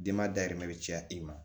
Denbayɛrɛ bɛ caya i ma